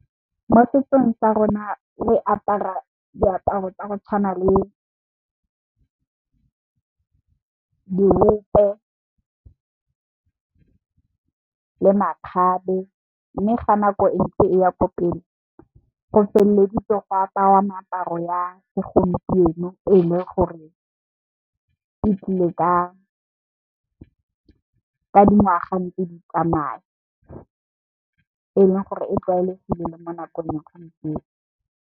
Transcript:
Mo setsong sa rona re apara diaparo tsa go tshwana le diope le makgabe, mme ga nako e ntse e ya ko pele, go feleditse go aparwa meaparo ya segompieno e le gore e tlile ka dingwaga ntse tse di tsmaya. E leng gore e tlwaelegileng mo nakong ya gompieno,